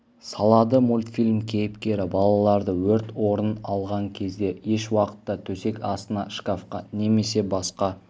салады мультфильм кейіпкері балаларды өрт орын алған кезде еш уақытта төсек астына шкафқа немесе басқа